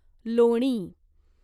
लोणी